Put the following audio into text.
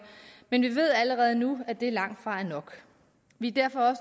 men vi ved allerede nu at det langtfra er nok vi er derfor